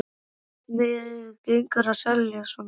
Hvernig gengur að selja svona bíla?